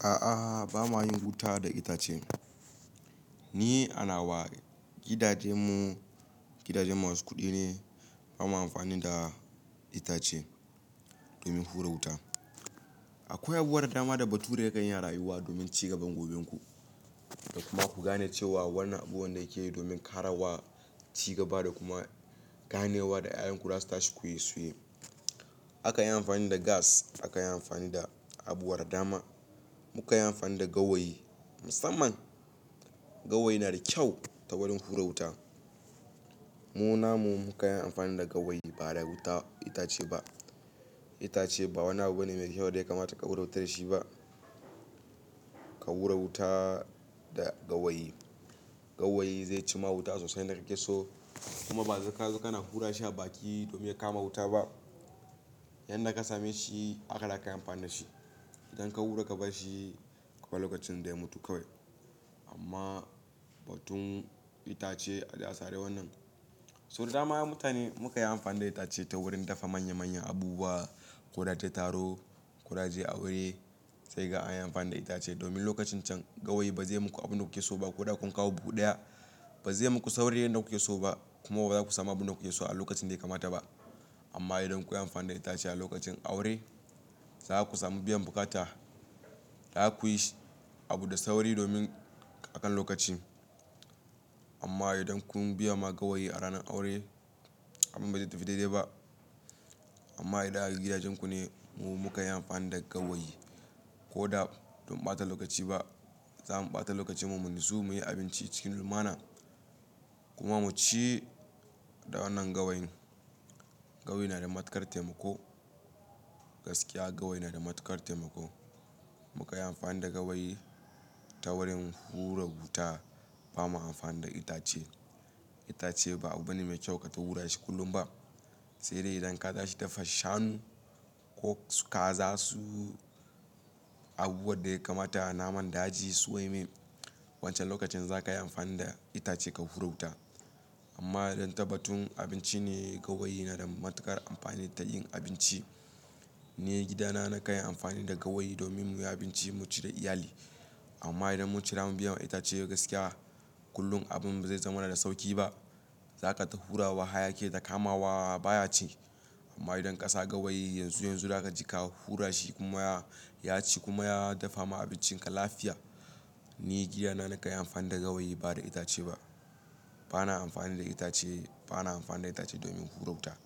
A'a, ba ma yin wuta da itace. Ni a nawa gidajenmu, gidajen masu kuɗi ne. Ba ma amfani da itace domin hura wuta. Akwai abubuwan dama da bature ya kan yi ra yuwa domin cigaban gobenku. Kuma ku gane cewa wannan abubuwan da yake yi domin ƙarawa, cigaba da kuma ganewa da "ya"yanku za su tashi ku yi su. Aka yi amfani da gas, aka yi amfani da abubuwan dama, muka yi amfani da gawayi. Musamman gawayi na da kyau ta wurin hura wuta. Mu namu muka yi amfani da gawayi ba da wuta itace ba. Itace ba wani abu bane mai kyau da ya kamata ka hura wuta da shi ba. Ka hura wuta da gawayi. Gawayi zai ci ma wuta sosai na yanda kake so. Kuma ba zaka zo kana hura shi a baki domin ya kama wuta ba. Yanda ka same shi haka za ka yi amfani da shi. Idan ka hura ka bar shi, akwai lokacin da ya mutu kawai. Amma batun itace al'ada ce wannan. So da dama mutane muka yi amfani da itace ta wurin dafa manya manyan abubuwa, ko da tattaro, ko da je aure. Sai ga an yi amfani da itace domin lokacin can gawayi ba zai muku abin da kuke so ba. Ko da kun kawo buhu ɗaya, ba zai muku sauri yanda kuke so ba. Kuma ba za ku sami abin da kuke so a lokacin da ya kamata ba. Amma idan kun yi amfani da itace a lokacin aure, za ku sami biyan bukata da za ku yi abu da sauri domin akan lokaci. Amma idan kun biya ma gawayi a ranar aure, abin ba zai tafi daidai ba. Amma idan a gidajenku ne mu muka yi amfani da gawayi ko da dam ɓata lokaci ba, za mu ɓata lokacin mu mu nutsu muyi abinci cikin lumana. Kuma mu ci da wannan gawayin. Gawayi na da matukar taimako. Gaskiya gawayi na da matukar taimako. Muka yi amfani da gawayi ta wurin hura wuta ba ma amfani da itace. Itace ba abu bane mai kyau ka ta hura shi kullum ba. Sai dai idan ka ta shi dafa shanu ko su kaza su abubuwan da ya kamata naman daji su ɗumi, wancan lokacin za ka yi amfani da itace ka hura wuta. Amma don taba tun abinci ne gawayi na da matuƙar amfani ta yin abinci. Ni gidana na ka yi amfani da gawayi domin muyi abinci mu ci da iyali. Amma idan mun ci zamu biyan itace gaskiya, kullum abin ba zai zama na da sauƙi ba. Za kata hura wa haya ki yayi ta kamawa baya ci. Amma idan ka sa gawayi yanzu yanzu za ka ji ka hura shi kuma ya ci kuma ya dafa ma abincin ka lafiya. Ni gidana na ka yi amfani da gawayi ba da itace ba. Ba na amfani da itace, ba na amfani da itace domin hura wuta.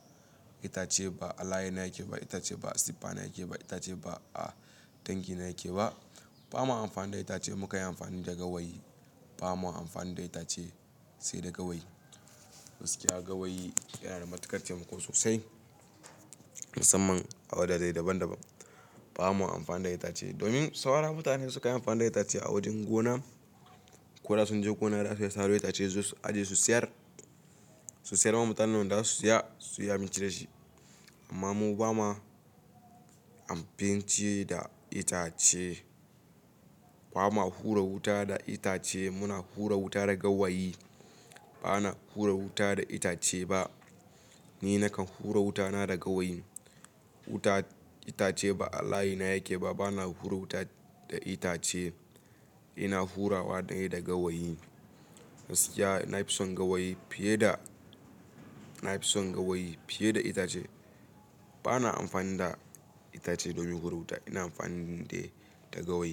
Itace ba Allahina yake ba, itace ba siffa na yake ba, itace ba a tanki na yake ba. Ba ma amfani da itace muka yi amfani da gawayi. Ba ma amfani da itace sai da gawayi. Gaskiya gawayi yana da matuƙar taimako sosai. Musamman a wadda dai daban daban. Ba ma amfani da itace domin saura mutane sukan yi amfani da itace a wajen gona ko da sun je gona za su sayar. Su sayar ma mutanen da za su saya su yi abinci da shi. Amma mu ba ma abinci da itace. Ba ma hura wuta da itace. Muna hura wuta da gawayi. Ba na hura wuta da itace ba. Ni na kan hura wutana da gawayi. Wuta itace ba Allahina yake ba. Ba na hura wuta da itace. Ina hurawa na yi da gawayi. Gaskiya na fi son gawayi fiye da, na fi son gawayi fiye da itace. Ba na amfani da itace domin hura wuta. Ina amfani ne da gawayi.